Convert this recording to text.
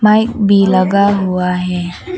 Mic भी लगा हुआ है।